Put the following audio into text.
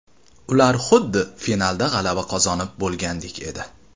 Ular xuddi finalda g‘alaba qozonib bo‘lgandek edi.